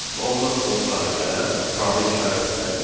və ondan sonra gələn probel işarəsindən ibarətdir.